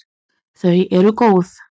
Þau eru góð.